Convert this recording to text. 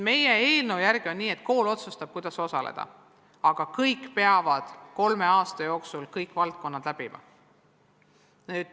Meie eelnõu järgi on nii, et kool otsustab, kuidas osaleda, aga kõik peavad kolme aasta jooksul kõik valdkonnad läbima.